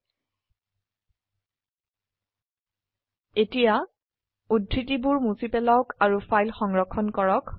সেয়ে এতীয়া উদ্ধৃতিবোৰ মুছি পেলাওক আৰু ফাইল সংৰক্ষণ কৰক